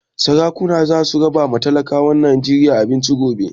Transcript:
Sarakuna za su raba ma talakawan Najeriya abinci gobe